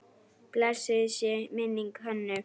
Blessuð sé minning Hönnu.